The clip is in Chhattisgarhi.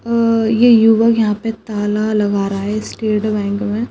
अ-अ-अ ये युवक यहां पे ताला लगा रहा है स्टेट बैंक में।